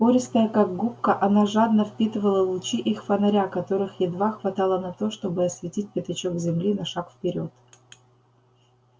пористая как губка она жадно впитывала лучи их фонаря которых едва хватало на то чтобы осветить пятачок земли на шаг вперёд